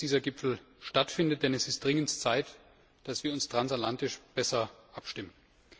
Es ist gut, dass dieser Gipfel stattfindet, denn es ist höchste Zeit, dass wir uns transatlantisch besser abstimmen.